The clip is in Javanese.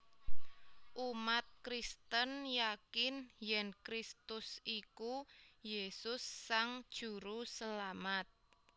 Umat Kristen yakin yèn Kristus iku Yesus Sang Juruselamat